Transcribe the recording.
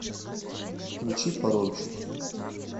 включи паромщик